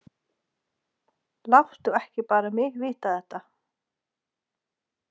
Láttu ekki bara mig vita þetta.